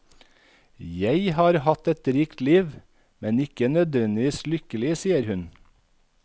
Jeg har hatt et rikt liv, men ikke nødvendigvis lykkelig, sier hun.